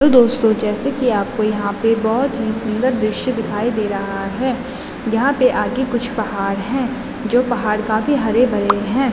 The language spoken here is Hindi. हॅलो दोस्तों जैसे की आपको यहाँ पे बहोत ही सुंदर द्रिश्य दिखाई दे रहा है यहाँ पे आगे कुछ पहाड़ हैं जो पहाड़ काफी हरे-भरे हैं।